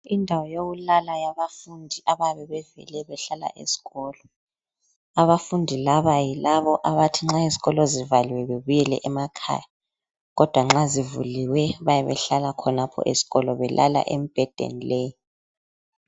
Indawo yokulala yabafundi abayabe bevele behlala esikolo, abafundi laba yilabo abathi nxa izikolo zivaliwe bebuyele emakhaya kodwa nxa zivuliwe bayabe behlala khonapho esikolo belala emibhedeni le.